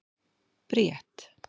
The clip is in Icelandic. Bríet